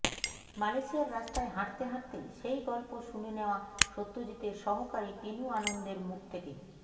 মালয়েশিয়ার রাস্তায় হাঁটতে হাঁটতে সেই গল্প শুনে নেওয়া সত্যজিতের সহকারী টিনু আনন্দের মুখ থেকে